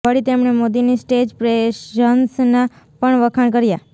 વળી તેમણે મોદીની સ્ટેજ પ્રેઝન્સના પણ વખાણ કર્યા